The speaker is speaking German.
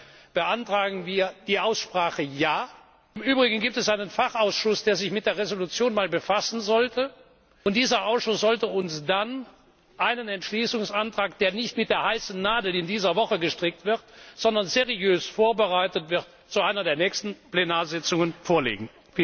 Deshalb beantragen wir die Aussprache. Ja! Im übrigen gibt es einen Fachausschuss, der sich mit der Entschließung befassen sollte, und dieser Ausschuss sollte uns dann einen Entschließungsantrag, der nicht mit der heißen Nadel in dieser Woche genäht, sondern seriös vorbereitet wird, in einer der nächsten Plenarsitzungen vorlegen.